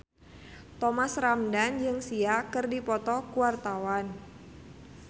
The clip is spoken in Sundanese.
Thomas Ramdhan jeung Sia keur dipoto ku wartawan